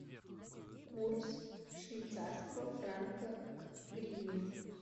курс швейцарского франка к гривне